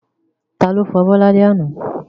Ta ló fọ abọ́ ní alẹ́ àná?